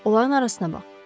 Onların arasına bax.